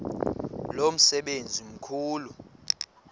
lo msebenzi mkhulu